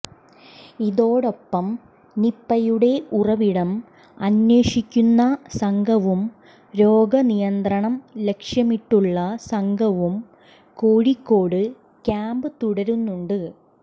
ഇതോടൊപ്പം നിപയുടെ ഉറവിടം അന്വേഷിക്കുന്ന സംഘവും രോഗനിയന്ത്രണം ലക്ഷ്യമിട്ടുള്ള സംഘവും കോഴിക്കോട് ക്യാമ്പ് തുടരുന്നുണ്ട്